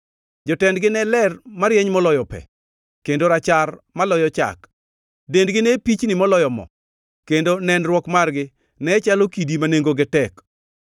Jotendgi ne ler marieny moloyo pe kendo rachar maloyo chak, dendgi ne pichni moloyo mo; kendo nenruok margi ne chalo gi kidi ma nengone tek.